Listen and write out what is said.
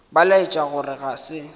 ba laetša gore ga se